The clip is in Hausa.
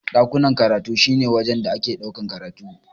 Ɗakunan karatu shi ne wajen da ake ɗaukan karatu.